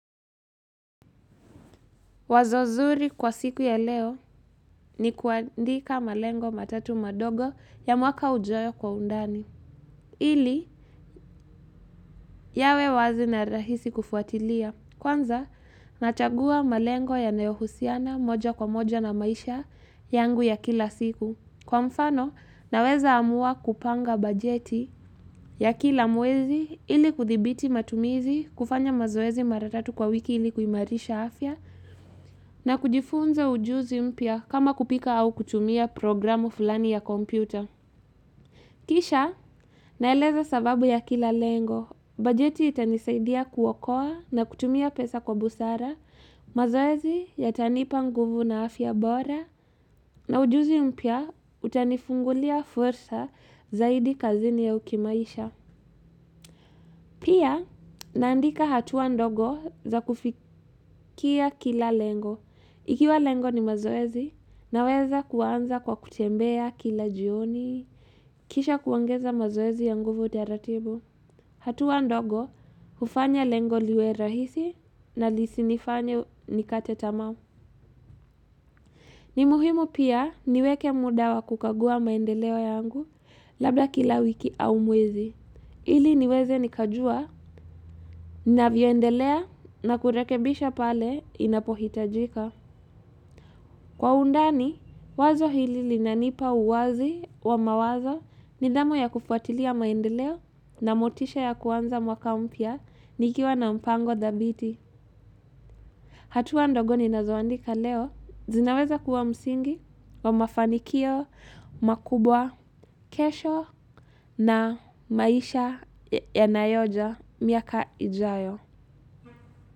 Wazo zuri kwa siku ya leo ni kuandika malengo matatu madogo ya mwaka ujao kwa undani, ili yawe wazi na rahisi kufuatilia, kwanza nachagua malengo yanayohusiana moja kwa moja na maisha yangu ya kila siku. Kwa mfano, naweza amua kupanga bajeti ya kila mwezi ili kuthibiti matumizi kufanya mazoezi mara tatu kwa wiki ili kuimarisha afya na kujifunza ujuzi mpya kama kupika au kutumia programu fulani ya kompyuta. Kisha naeleza sababu ya kila lengo, bajeti itanisaidia kuokoa na kutumia pesa kwa busara, mazoezi yatanipa nguvu na afya bora na ujuzi mpya utanifungulia fursa zaidi kazini au kimaisha. Pia, naandika hatua ndogo za kufikia kila lengo. Ikiwa lengo ni mazoezi, naweza kuanza kwa kutembea kila jioni, kisha kuongeza mazoezi ya nguvu taratibu. Hatua ndogo, hufanya lengo liwe rahisi na lisinifanye nikate tamaa. Ni muhimu pia niweke muda wa kukagua maendeleo yangu labda kila wiki au mwezi. Ili niweze nikajua ninavyoendelea na kurekebisha pale inapohitajika. Kwa undani, wazo hili lina nipa uwazi wa mawazo nidhamu ya kufuatilia maendeleo na motisha ya kuanza mwaka mpya nikiwa na mpango dhabiti. Hatua ndogo ninazoandika leo zinaweza kuwa msingi wa mafanikio makubwa kesho na maisha ya nayoja miaka ijayo.